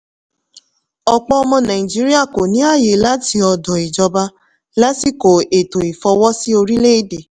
ọ̀pọ̀ ọmọ nàìjíríà kò ní àyè láti ọ̀dọ̀ ìjọba lásìkò ètò ìfọwọ́sí orílẹ̀-èdè.